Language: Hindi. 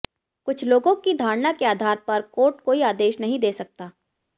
कुछ लोगों की धारणा के आधार पर कोर्ट कोई आदेश नहीं दे सकता